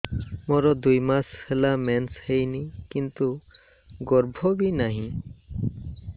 ମୋର ଦୁଇ ମାସ ହେଲା ମେନ୍ସ ହେଇନି କିନ୍ତୁ ଗର୍ଭ ବି ନାହିଁ